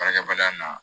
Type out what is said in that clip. Baarakɛbaliya na